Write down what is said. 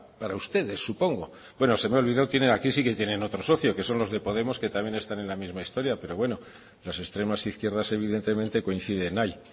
para ustedes supongo bueno se me ha olvidado tienen aquí sí que tienen otro socio que son los de podemos que también están en la misma historia pero bueno las extremas izquierdas evidentemente coinciden ahí